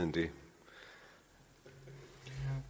vi